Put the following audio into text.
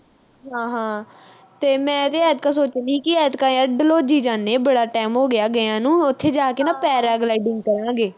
ਹਾਂ ਹਾਂ ਤੇ ਮੈਂ ਵੀ ਐਤਕਾਂ ਸੋਚਣ ਡਈ ਸੀ ਕਿ ਐਤਕਾਂ ਯਰ ਡਲਹੌਜ਼ੀ ਜਾਨੇ ਆਂ ਬੜਾ time ਹੋਗਿਆ ਗਿਆਂ ਨੂੰ। ਉਥੇ ਜਾ ਕੇ ਨਾ paragliding ਕਰਾਂਗੇ।